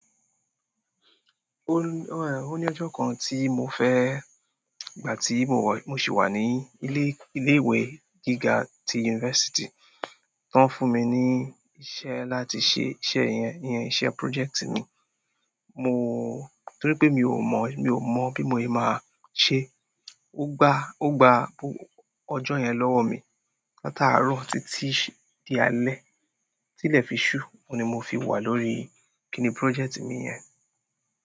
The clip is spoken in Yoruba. Ó ní ọjọ́ kan tí mo fẹ́, nígbà tí mo sì wà ní ilé, ilé-ìwé gíga ti yunifásítì, wọ́n fún mi ní iṣẹ́ láti ṣe iṣẹ́ yẹn, iṣẹ́ project mi. Mo, torí pé mi ò mọ̀, mi ò mọ̀ bí mo yẹ máa ṣe. Ó gbá, ó gbá ọjọ́ yẹn lọ́wọ́ mi. Látaàárọ̀ títí di alẹ́. Tí ilẹ̀ fi ṣú, oun ni mo fi wà lórí kíni project mi yẹn.